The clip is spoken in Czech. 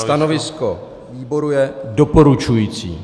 Stanovisko výboru je doporučující.